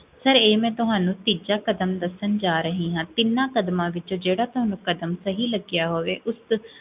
sir, ਇਹ ਮੈ ਤੁਹਾਨੂੰ ਤੀਜਾ ਕਦਮ ਦਸਨ ਜਾ ਰਹੀ ਹਾਂ, ਤਿਨਾ ਕਦਮਾਂ ਵਿੱਚ, ਜੇਹੜਾ ਤੁਹਾਨੂੰ ਕਦਮ ਸਹੀ ਲ੍ਗੇਆ ਹੋਵੇ, ਉਸ